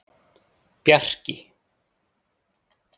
Bjarki